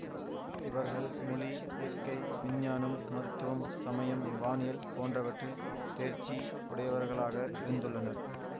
இவர்கள் மொழி இயற்கை விஞ்ஞானம் மருத்துவம் சமயம் வானியல் போன்றவற்றில் தேர்ச்சி உடையவர்களாக இருந்துள்ளனர்